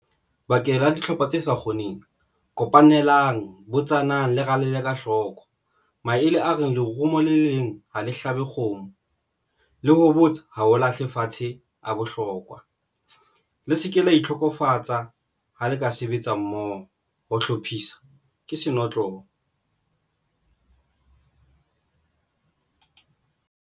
Bakeng la dihlopha tse sa kgoneng kopanelang botsanang, le rale ka hloko. Maele a reng le romo le leng ha le hlabe kgomo le ho botsa ha ho lahle fatshe a bohlokwa le se ke la itokofatse. Ka ha le ka sebetsa mmoho, ho hlophisa ke senotlolo.